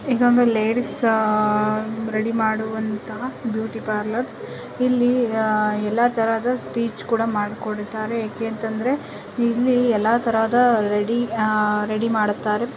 ಇದೊಂದು ಲೇಡೀಸ್ ಅಹ್ ರೆಡಿ ಮಾಡುವಂತಹ ಬ್ಯೂಟಿ ಪಾರ್ಲರ್ಸ್ ಇಲ್ಲಿ ಅಹ್ ಎಲ್ಲ ತರಹದ ಸ್ಪೀಚ್ ಕೂಡ ಮಾಡ್ಕೊಂಡಿದಾರೆ ಏಕೇತಂದ್ರೆ ಇಲ್ಲಿ ಎಲ್ಲಾ ತರಹದ ಅಹ್ ರೆಡಿ ಅಹ್ ರೆಡಿ ಮಾಡುತ್ತಾರೆ --